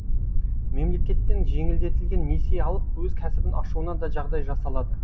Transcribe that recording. мемлекеттен жеңілдетілген несие алып өз кәсібін ашуына да жағдай жасалады